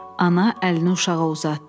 Ana əlini uşağa uzatdı.